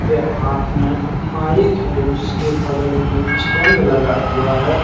के हाथ में माइक है उसके बगल में एक स्टैंड लगा हुआ है।